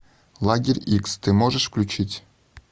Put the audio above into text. лагерь икс ты можешь включить